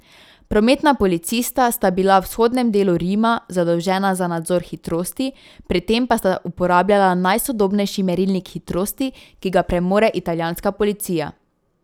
Prometna policista sta bila v vzhodnem delu Rimu zadolžena za nadzor hitrosti, pri tem pa sta uporabljala najsodobnejši merilnik hitrosti, ki ga premore italijanska policija.